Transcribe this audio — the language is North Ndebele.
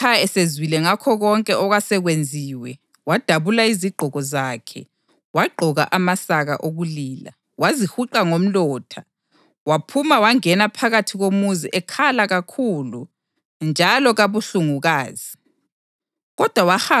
Kwathi uModekhayi esezwile ngakho konke okwasekwenziwe, wadabula iziqgoko zakhe, wagqoka amasaka okulila, wazihuqa ngomlotha, waphuma wangena phakathi komuzi ekhala kakhulu njalo kabuhlungukazi.